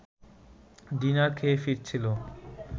dinner খেয়ে ফিরছিল